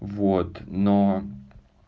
вот но